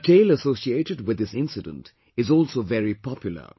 A tale associated with this incident is also very popular